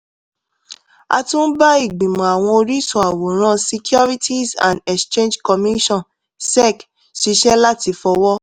a tún ń bá ìgbìmọ̀ àwọn oríṣun àwòrán securities and exchange commission sec ṣiṣẹ́ láti fọwọ́